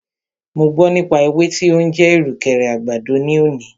Mo gbọ́ nípa ewé tí o ń jẹ́ ìrùkẹ̀rẹ̀ àgbàdo ní òní.